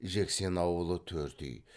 жексен ауылы төрт үй